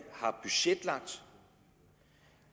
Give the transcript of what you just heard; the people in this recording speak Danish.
har budgetlagt